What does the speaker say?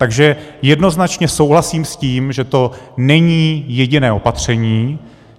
Takže jednoznačné souhlasím s tím, že to není jediné opatření.